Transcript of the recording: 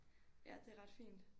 Ja det er ret fint